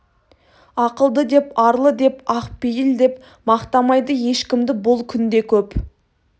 ақылды деп арлы деп ақ пейіл деп мақтамайды ешкімді бұл күнде көп